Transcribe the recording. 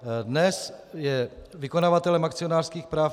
Dnes je vykonavatelem akcionářských práv